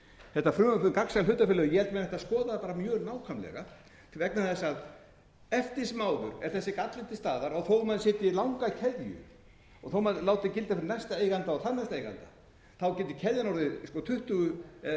þetta frumvarp um gagnsæju hlutafélögin ég held að menn ættu að skoða það bara mjög nákvæmlega vegna þess að eftir sem áður er þessi galli til staðar þó maður setji langa keðju og þó maður láti gilda fyrir næsta eiganda og þarnæsta eiganda getur keðjan orðið tuttugu eða